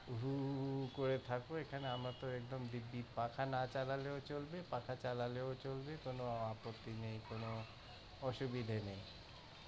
হুহুহুহু করে থাকো, এখানে আমরা তো একদম দিব্বি পাখা না চালালেও চলবে চালালেও চলবে কোন আপত্তি নেই। কোন অসুবিধা নেই।